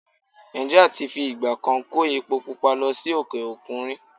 Nà̀ìjíríà ti fi ìgbà kan kó epo pupa lọ sí òkè-òkun rí.